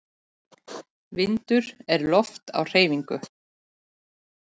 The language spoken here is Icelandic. Vindur er loft á hreyfingu.